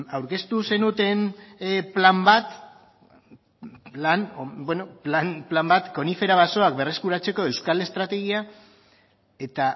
aurkeztu zenuten plan bat konifera basoak berreskuratzeko euskal estrategia eta